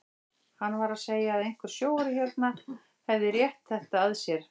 Hann var að segja að einhver sjóari hérna hefði rétt þetta að sér.